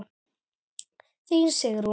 Þín Sigrún.